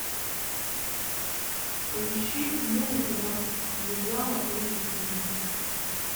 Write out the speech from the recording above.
поищи музыка нас связала эйч ди